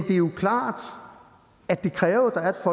er jo klart at det kræver at